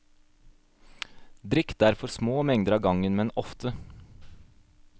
Drikk derfor små mengder av gangen, men ofte.